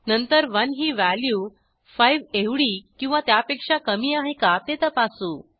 नंतर 1 ही व्हॅल्यू 5 एवढी किंवा त्यापेक्षा कमी आहे का ते तपासू